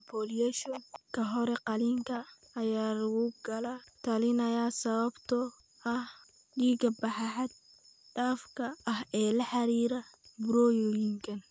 Emboliation ka hor qaliinka ayaa lagula talinayaa sababtoo ah dhiigbaxa xad dhaafka ah ee la xiriira burooyinkan.